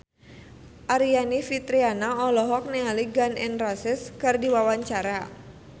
Aryani Fitriana olohok ningali Gun N Roses keur diwawancara